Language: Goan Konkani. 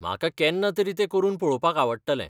म्हाका केन्नातरी तें करून पळोवपाक आवडटलें.